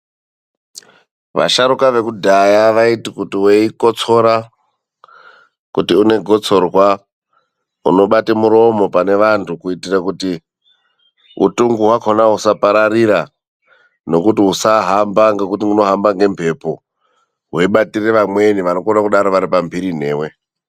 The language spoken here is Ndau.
Vasharukwa vekudhaya vaiti kuti weikotsora, kuti une gotsorwa unobata muromo pane vantu kuti utungu hwacho usapararira nekuti usahamba nekuti unohamba nemhepo weibatira vamwe vanenge varipamhiriri newe.